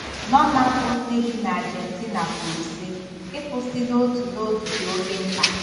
Norma, bụ́ nne bi n'Ajentina, kwuru, sị: “Ịkwụsị n'otu n'otu dị oké mkpa.